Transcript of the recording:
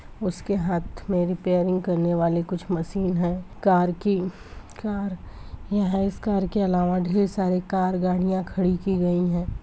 उसके हाथ में रेपैरींग करने वाली कुछ मशीन है | कार की कार यह इस कार के अलावा भी सारी कार गाडियाँ खड़ी की गई हैं।